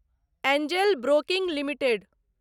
Angel Broking limited